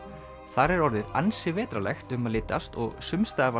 þar er orðið ansi vetrarlegt um að litast og sums staðar var